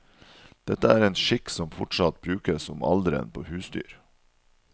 Dette er en skikk som fortsatt brukes om alderen på husdyr.